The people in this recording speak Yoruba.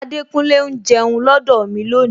Adekunle ń jẹun lọdọ mi lónìí